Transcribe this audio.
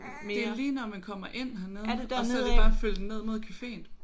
Det er lige når man kommer ind hernede og så er det bare at følge den ned mod caféen